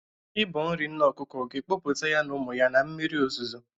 Ịbọ nri nne ọkụkọ ga-ekpopụta ya ụmụ ya na mmiri ozuzo.